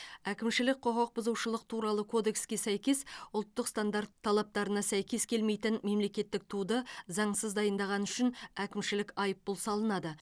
әкімшілік құқық бұзушылық туралы кодекске сәйкес ұлттық стандарт талаптарына сәйкес келмейтін мемлекеттік туды заңсыз дайындағаны үшін әкімшілік айыппұл салынады